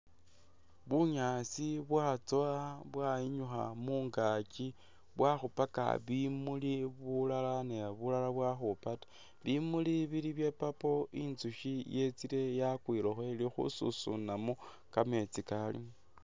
Bunyaasi bwatsowa bwayinyukha mungakyi bwakhupaka bimuli bulala ne bulala bwakhupa ta bimuli bili bye purple inzukyi yetsile yakwilekho ili khususunamo kameetsi kalimo.